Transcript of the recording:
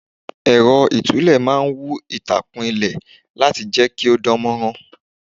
Ẹ̀rọ itule máa ń wú itakun ilẹ̀ láti jẹ́ kí ó dánmorán.